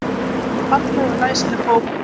Falleg og læsileg bók.